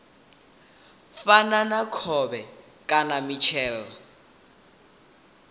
fana na khovhe kana mitshelo